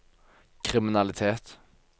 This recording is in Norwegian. kriminalitet